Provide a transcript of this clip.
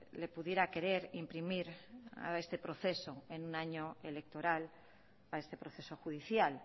le pudiera querer imprimir a este proceso en un año electoral a este proceso judicial